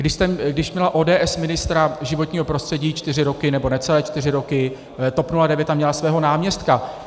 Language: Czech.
Když měla ODS ministra životního prostředí čtyři roky, nebo necelé čtyři roky, TOP 09 tam měla svého náměstka?